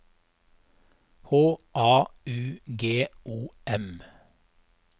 H A U G O M